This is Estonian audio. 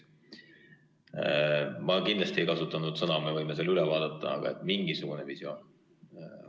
Ma kindlasti ei kasutanud väljendit – me võime selle üle vaadata – "mingisugune visioon".